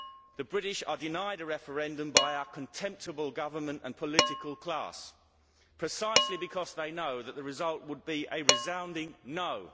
The British are denied a referendum by our contemptible government and political class precisely because they know that the result would be a resounding no'.